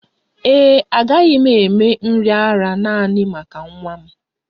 Ee e, agaghị m eme nri ara nanị maka nwa m